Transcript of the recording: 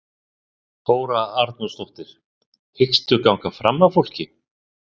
Þóra Arnórsdóttir: Hyggstu ganga fram af fólki?